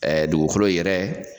Ɛɛ dugukolo yɛrɛ